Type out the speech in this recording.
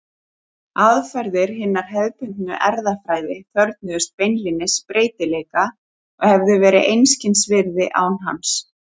Aðferðir hinnar hefðbundnu erfðafræði þörfnuðust beinlínis breytileika og hefðu verið einskis virði án hans.